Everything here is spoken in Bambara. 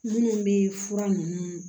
Minnu bɛ fura ninnu